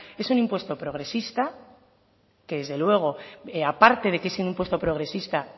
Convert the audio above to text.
es un impuesto progresista que desde luego aparte de que es un impuesto progresista